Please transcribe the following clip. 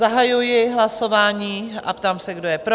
Zahajuji hlasování a ptám se, kdo je pro?